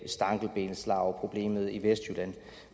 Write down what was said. stankelbenslarveproblemet i vestjylland